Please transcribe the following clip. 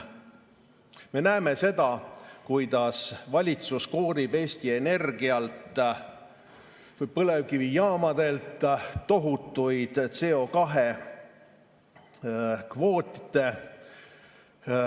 Me näeme seda, kuidas valitsus koorib põlevkivijaamadelt tohutuid CO2-kvoote.